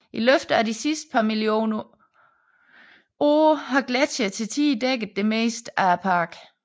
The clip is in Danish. I løbet af de sidste par millioner år har gletsjere til tider dækket det meste af parken